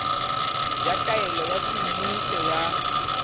ya taelo ya semmuso ya